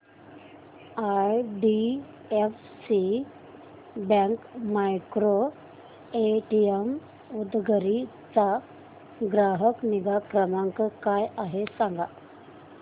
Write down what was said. IDFC bank micro ATM Udgir चा ग्राहक निगा क्रमांक काय आहे सांगा